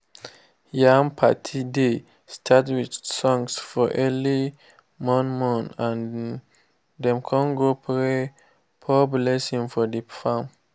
yam party dey start with songs for early morn-morn and dem con go pray pour blessing for the farm.